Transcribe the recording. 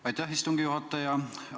Aitäh, istungi juhataja!